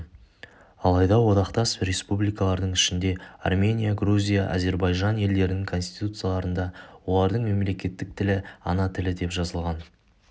алайда одақтас республикалардың ішінде армения грузия азербайжан елдерінің конституциясында олардың мемлекеттік тілі ана тілі деп жазылған